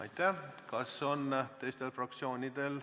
Aitäh!